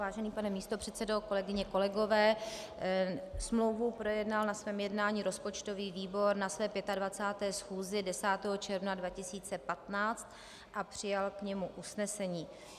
Vážený pane místopředsedo, kolegyně, kolegové, smlouvu projednal na svém jednání rozpočtový výbor na své 25. schůzi 10. června 2015 a přijal k němu usnesení.